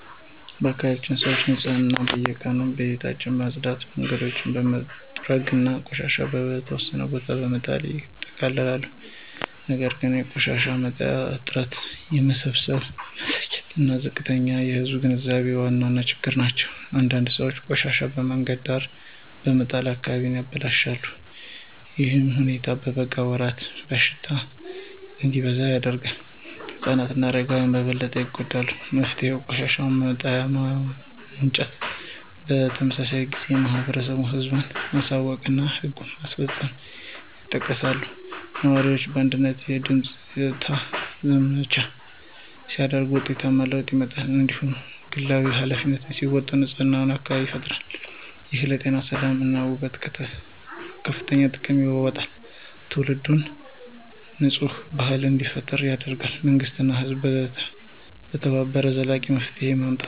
በአካባቢያችን ሰዎች ንፅህናን በየቀኑ ቤታቸውን በማጽዳት መንገዶችን በመጠገን እና ቆሻሻ በተወሰነ ቦታ በመጣል ይጠብቃሉ ነገር ግን የቆሻሻ መጣያ እጥረት የመሰብሰብ መዘግየት እና ዝቅተኛ የህዝብ ግንዛቤ ዋና ችግሮች ናቸው። አንዳንድ ሰዎች ቆሻሻቸውን በመንገድ ዳር በመጣል አካባቢውን ያበላሻሉ። ይህ ሁኔታ በበጋ ወራት በሽታ እንዲበዛ ያደርጋል። ህፃናት እና አረጋውያን በበለጠ ይጎዳሉ። መፍትሄው የቆሻሻ መጣያ ማመንጨት የመሰብሰብ ጊዜ ማብዛት ህዝብን ማሳወቅ እና ህግ ማስፈጸም ይጠቀሳሉ። ነዋሪዎች በአንድነት የጽዳት ዘመቻ ሲያደርጉ ውጤታማ ለውጥ ይመጣል። እያንዳንዱ ግለሰብ ኃላፊነቱን ሲወጣ ንፁህ አካባቢ ይፈጠራል። ይህ ለጤና ሰላም እና ውበት ከፍተኛ ጥቅም ያመጣል። ትውልድ ትውልድ የንፅህና ባህል እንዲጠናከር ይረዳል መንግሥት እና ህዝብ በመተባበር ዘላቂ መፍትሄ ማምጣት ይችላሉ።